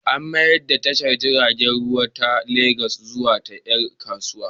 An mayar da tashar jiragen ruwa ta Legas zuwa ta ƴan kasuwa.